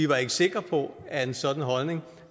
var sikre på at en sådan holdning